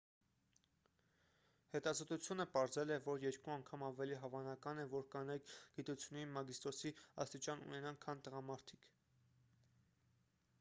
հետազոտությունը պարզել է որ երկու անգամ ավելի հավանական է որ կանայք գիտությունների մագիստրոսի աստիճան ունենան քան տղամարդիկ